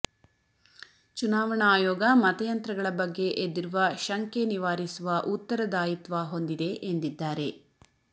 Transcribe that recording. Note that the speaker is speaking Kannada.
ಚುನಾವಣಾ ಆಯೋಗ ಮತಯಂತ್ರಗಳ ಬಗ್ಗೆ ಎದ್ದಿರುವ ಶಂಕೆ ನಿವಾರಿಸುವ ಉತ್ತರದಾಯಿತ್ವ ಹೊಂದಿದೆ ಎಂದಿದ್ದಾರೆ